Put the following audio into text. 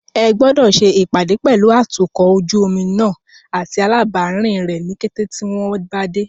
Ẹ gbọ́dọ̀ ṣe ìpàdé pẹ̀lú atukọ̀ ojú omi náà àti alábàárìn rẹ ní kété tí wọn bá dé.